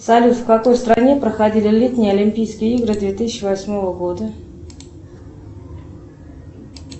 салют в какой стране проходили летние олимпийские игры две тысячи восьмого года